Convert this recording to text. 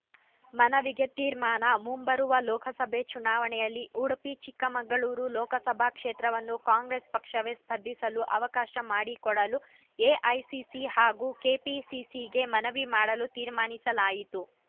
ಮನವಿಗೆ ತೀರ್ಮಾನ ಮುಂಬರುವ ಲೋಕಸಭೆ ಚುನಾವಣೆಯಲ್ಲಿ ಉಡುಪಿ ಚಿಕ್ಕಮಗಳೂರು ಲೋಕಸಭಾ ಕ್ಷೇತ್ರವನ್ನು ಕಾಂಗ್ರೆಸ್‌ ಪಕ್ಷವೇ ಸ್ಪರ್ಧಿಸಲು ಅವಕಾಶ ಮಾಡಿಕೊಡಲು ಎಐಸಿಸಿ ಹಾಗೂ ಕೆಪಿಸಿಸಿಗೆ ಮನವಿ ಮಾಡಲು ತೀರ್ಮಾನಿಸಲಾಯಿತು